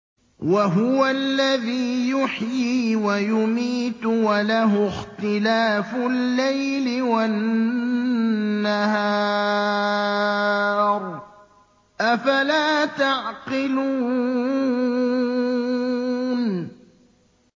وَهُوَ الَّذِي يُحْيِي وَيُمِيتُ وَلَهُ اخْتِلَافُ اللَّيْلِ وَالنَّهَارِ ۚ أَفَلَا تَعْقِلُونَ